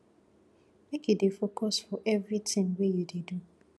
make you dey focus for evertin wey you dey do